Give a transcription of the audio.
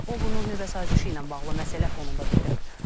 O bunu nüvə sazişi ilə bağlı məsələ fonunda bildirib.